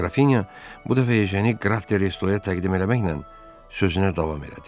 Qrafinya bu dəfə Ejeni Qraf de Restoya təqdim eləməklə sözünə davam elədi.